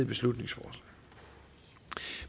beslutningsforslag